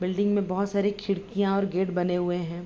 Building में बहोत सारे खिड़कियाँ और गेट बने हुए हैं।